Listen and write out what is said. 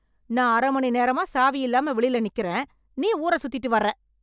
நா அரை மணி நேரமா சாவி இல்லாம வெளியில நிக்குறேன் நீ ஊர சுத்திட்டு வர்ற